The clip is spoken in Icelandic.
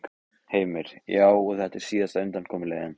Heimir: Já, og þetta er síðasta undankomuleiðin?